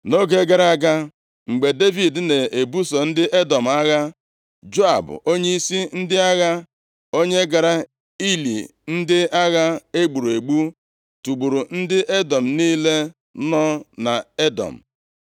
Nʼoge gara aga, mgbe Devid na-ebuso ndị Edọm agha, Joab, onyeisi ndị agha, onye gara ili ndị agha e gburu egbu, tigburu ndị ikom niile nọ nʼEdọm.